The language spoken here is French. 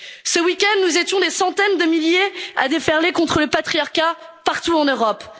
Ce week end, nous étions des centaines de milliers à déferler contre le patriarcat, partout en